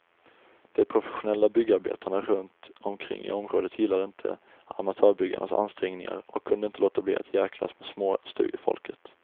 De professionella byggarbetarna runt omkring i området gillade inte amatörbyggarnas ansträngningar och kunde inte låta bli att djäklas med småstugefolket.